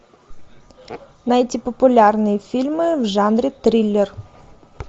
найти популярные фильмы в жанре триллер